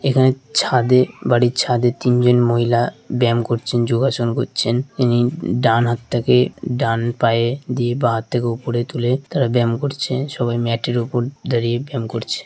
এখানে ছাদে--বাড়ির ছাদে তিনজন মহিলা ব্যায়াম করছেনযোগাসন করছেন ইনি ডান হাতটাকে ডান পায়ে দিয়ে বাঁ হাতটাকে উপরে তুলে তারা ব্যায়াম করছেসবাই ম্যাট -এর উপর দাঁড়িয়ে ব্যায়াম করছে।